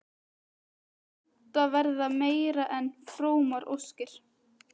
Þetta verða meira en frómar óskir.